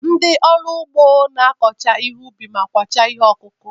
Ndị ọrụ ugbo na-akọcha ihe ubi ma kwachaa ihe ọkụkụ.